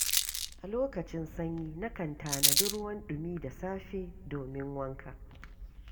A lokacin sanyi nakan tanadi ruwan ɗumi da safe domin wanka.